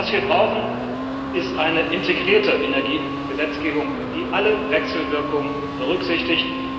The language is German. Was wir brauchen, ist eine integrierte Energiegesetzgebung, die alle Wechselwirkungen berücksichtigt.